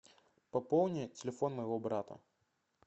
пополни телефон моего брата